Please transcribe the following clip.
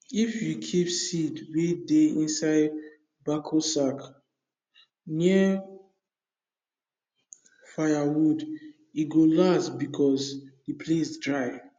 if you keep seed wey dey inside backo sack near firewood e go last because the place dry